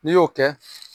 N'i y'o kɛ